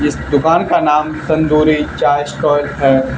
इस दुकान का नाम तंदूरी चाय स्टॉल है।